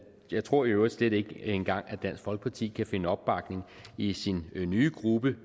jeg tror i øvrigt slet ikke engang at dansk folkeparti kan finde opbakning i sin nye gruppe